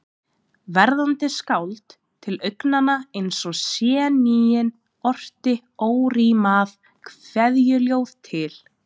Verðandi skáld, til augnanna eins og séníin, orti órímað kveðjuljóð til